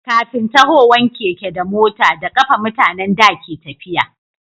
kafin tahowan keke da mota da kafa mutanen da ke tafiya